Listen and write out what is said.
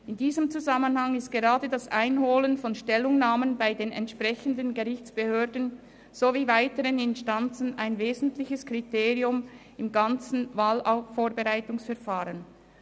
In diesem Zusammenhang ist gerade die Einholung von Stellungnahmen bei den entsprechenden Gerichtsbehörden sowie weiteren Instanzen ein wesentliches Kriterium im gesamten Wahlvorbereitungsverfahren.